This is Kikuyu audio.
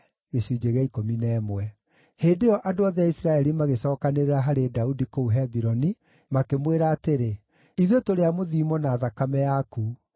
Hĩndĩ ĩyo andũ othe a Isiraeli magĩcookanĩrĩra harĩ Daudi kũu Hebironi, makĩmwĩra atĩrĩ, “Ithuĩ tũrĩ a mũthiimo na thakame yaku.